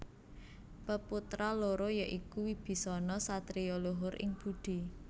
Peputra loro ya iku Wibisana satriya luhur ing budi